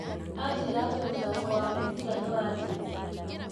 Aanjĩra atĩ mũthako wa mũbira nĩwanjĩtie